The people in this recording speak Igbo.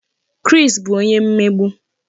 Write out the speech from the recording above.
Chris bu onye mmegbu